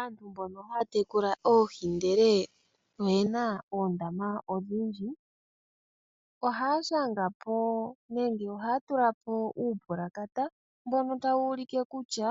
Asntu mbono ha ya tekula oohi ndele oyena oondama odhindji, oha ya tulapo uupulakata, mbono ta wu ulike kutya,